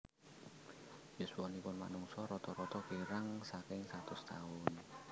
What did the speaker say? Yuswanipun manungsa rata rata kirang saking satus taun